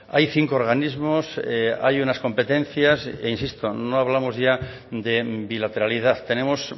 hay cinco organismos hay unas competencias e insisto no hablamos ya de bilateralidad tenemos